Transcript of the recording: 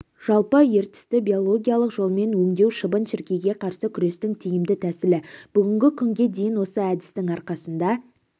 жалпы ертісті биологиялық жолмен өңдеу шыбын-шіркейге қарсы күрестің тиімді тәсілі бүгінгі күнге дейін осы әдістің арқасында